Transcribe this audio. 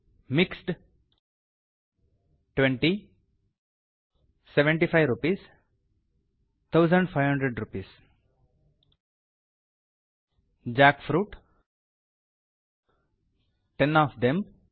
mixed 75 rupees 1500 rupees jackfruit ten of them